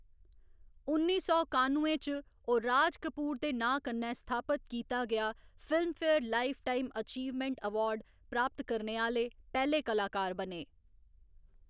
उन्नी सौ कानुए च, ओह्‌‌ राज कपूर दे नांऽ कन्नै स्थापत कीता गेआ फिल्मफेयर लाइफटाइम अचीवमेंट अवार्ड प्राप्त करने आह्‌‌‌ले पैह्‌‌‌ले कलाकार बने।